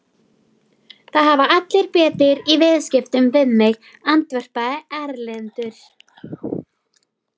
Það sjá allir hvað maginn á henni er orðinn stór.